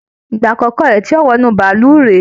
Ìgbà àkọkọ rẹ tí yóò wọ inú bàálù rè.